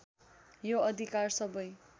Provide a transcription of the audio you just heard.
यो अधिकार सबै